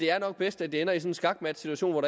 er bedst at det ender i sådan en skakmatsituation hvor